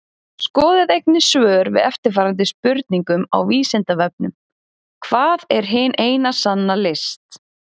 Skoðið einnig svör við eftirfarandi spurningum á Vísindavefnum Hvað er hin eina sanna list?